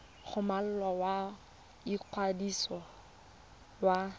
go molao wa ikwadiso wa